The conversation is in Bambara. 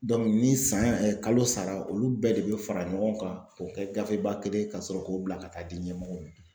ni san ye kalo sara olu bɛɛ de bɛ fara ɲɔgɔn kan k'o kɛ gafe ba kelen ye ka sɔrɔ k'o bila ka taa di ɲɛmɔgɔw ma.